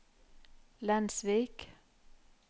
Lensvik